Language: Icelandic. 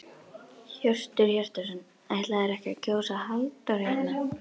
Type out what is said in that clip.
Hjörtur Hjartarson: Ætlarðu ekki að kjósa Halldór hérna?